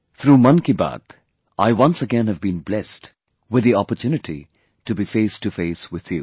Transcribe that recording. Through 'Mann Ki Baat', I once again have been blessed with the opportunity to be facetoface with you